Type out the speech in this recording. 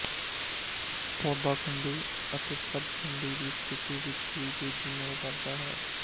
ਪੌਦਾ ਖੰਡੀ ਅਤੇ ਸਬ ਖੰਡੀ ਦੀ ਸਥਿਤੀ ਵਿੱਚ ਵੀ ਤੇਜ਼ੀ ਨਾਲ ਵੱਧਦਾ ਹੈ